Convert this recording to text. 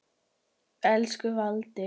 Elsku Valdi.